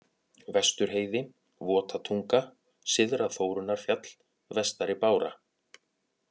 Vestur-Heiði, Votatunga, Syðra-Þórunnarfjall, Vestari-Bára